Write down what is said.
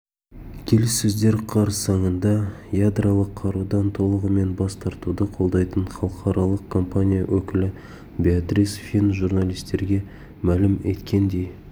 келіссөздер қарсаңында ядролық қарудан толығымен бас тартуды қолдайтын халықаралық компания өкілі беатрис фин журналистерге мәлім еткендей